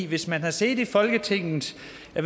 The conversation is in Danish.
hvis man har siddet i folketinget